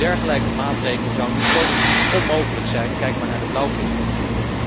Een dergelijke maatregel zou nu politiek onmogelijk zijn, kijk maar naar de blauwvintonijn.